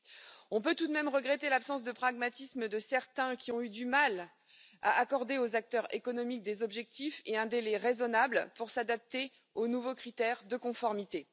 Nous pouvons malgré tout regretter l'absence de pragmatisme de certains, qui ont eu du mal à accorder aux acteurs économiques des objectifs et des délais raisonnables pour s'adapter aux nouveaux critères de conformité.